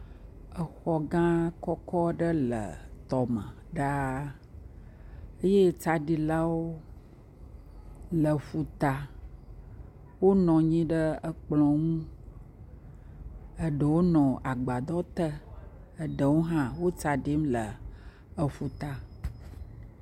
Exɔ gã kɔkɔ aɖe le tɔme ɖaa eye tsaɖilawo le ƒuta, wonɔ anyi ɖe ekplɔ ŋu, eɖewo le agbadɔ te, eɖewo le tsaɖim le eƒu ta.